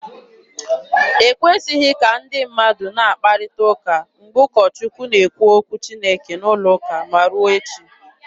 E kwesịghị ka ndị mmadụ na-akparịta ụka mgbe ụkọ Chukwu na-ekwu okwu Chineke n'ụlọ ụka, ma ruo echi.